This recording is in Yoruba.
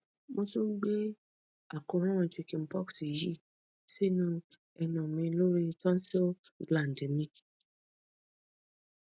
mo tún ń gbé àkóràn chicken pox yìí sínú ẹnu mi lórí tonsil gland mi